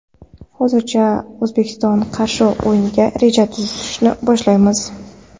Hozircha O‘zbekistonga qarshi o‘yinga reja tuzishni boshlaymiz.